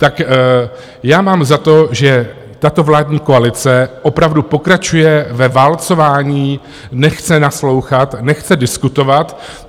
Tak já mám za to, že tato vládní koalice opravdu pokračuje ve válcování, nechce naslouchat, nechce diskutovat.